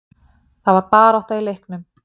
Það var barátta í leiknum.